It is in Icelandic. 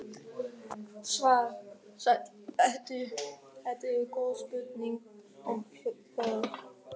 Svar: Sæll vertu, þetta eru góð spurning og þörf.